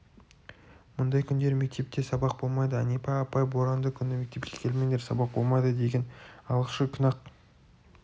мұндай күндері мектепте сабақ болмайды әнипа апай боранды күні мектепке келмеңдер сабақ болмайды деген алғашқы күн-ақ